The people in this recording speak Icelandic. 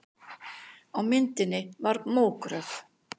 Á myndinni var mógröf.